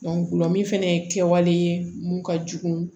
gulɔ min fana ye kɛwale mun ka jugu